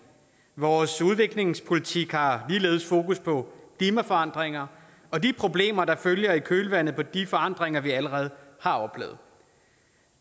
vores udviklingspolitik har ligeledes fokus på klimaforandringer og de problemer der følger i kølvandet på de forandringer vi allerede har oplevet